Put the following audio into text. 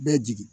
Bɛɛ jigi